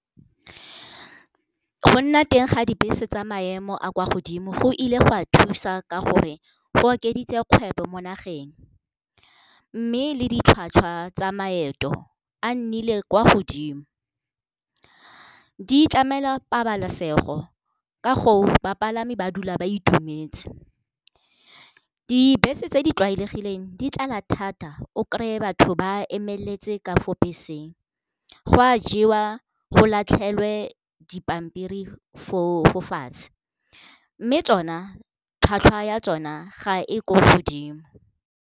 Go nna teng ga dibese tsa maemo a kwa godimo go ile go a thusa ka gore go okeditse kgwebo mo nageng. Mme le ditlhwatlhwa tsa maeto a nnile kwa godimo. Di tlamela pabalesego ka go bapalami ba dula ba itumetse. Dibese tse di tlwaelegileng di tlala thata o kry-e batho ba emeletse ka fo beseng, go a jewa go latlhelwe dipampiri fo fatshe, mme tsona tlhwatlhwa ya tsona ga e ko godimo.